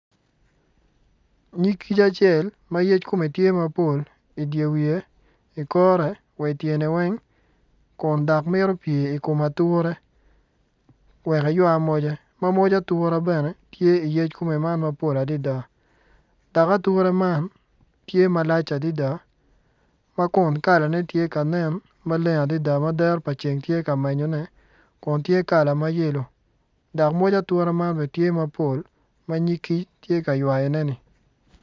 Nyig kic acel ma yec kome tye mapol idye wiye i kore wa ityene weng kun dok mito pye i kom ature wek eywa moce ma moc atura bene tye iyec kome man ma pol adada dok atura man tye malacl adada ma kun kalane tye ka nen maleng adada ma dero pa ceng tye ka menyone kun tye kala ma yelo dok moc atura man bene tye mapol ma nyig kic tye ka ywayoneni.